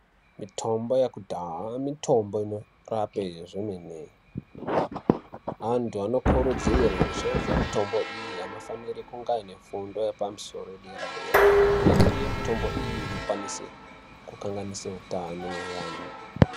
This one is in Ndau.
Mitombo yekudhaha mitombo inorape zvemene , antu anokurudzirwe kushandise mitombo iyi anofanire kunge aine fundo yepamusoro yedera dera imweni yemitombo iyi inokwanise kukanganise utano hweantu.